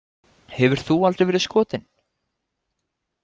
Hefur þú aldrei verið skotin?